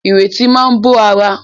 Ìrètí máa bó ara.